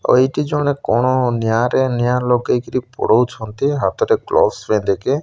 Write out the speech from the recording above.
ଆଉ ଏଇଠି ଜଣେ କଣ ନିଆଁ ରେ ନିଆଁ ଲଗେଇ କିରି ପୋଡଉଛନ୍ତି ହାତ ରେ ଗ୍ଲୋବସ ପିନ୍ଧିକି।